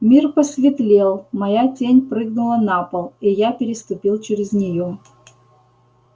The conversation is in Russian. мир посветлел моя тень прыгнула на пол и я переступил через неё